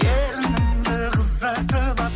ерніңді қызартып алып